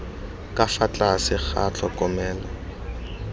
ka fa tlase ga tlhokomelo